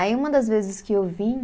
Aí uma das vezes que eu vim